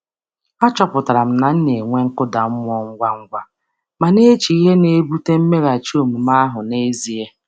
M chọpụtara na m na-ewe iwe ngwa ngwa um ma na-eche ihe na-akpalite mmeghachi um omume ahụ n’ezie. um